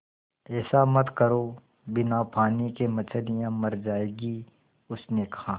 ऐसा मत करो बिना पानी के मछलियाँ मर जाएँगी उसने कहा